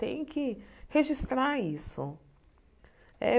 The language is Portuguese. Tem que registrar isso. Eh